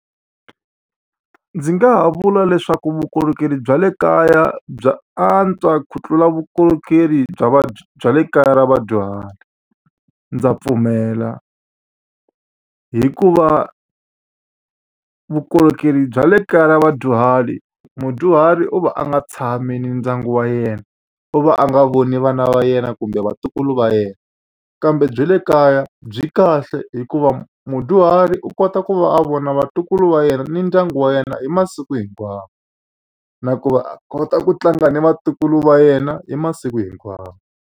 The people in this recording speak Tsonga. Ndzi nga ha vula leswaku vukorhokeri bya le kaya bya antswa ku tlula vukorhokeri bya va bya le kaya ra vadyuhari. Ndza pfumela hikuva vukorhokeri bya le kaya ra vadyuhari, mudyuhari u va a nga tshami ni ndyangu wa yena, u va a nga voni vana va yena kumbe vatukulu va yena. Kambe bya le kaya byi kahle hikuva mudyuhari u kota ku va a vona vatukulu va yena ni ndyangu wa yena hi masiku hinkwawo. Na ku va a kota ku tlanga ni vatukulu va yena hi masiku hinkwawo.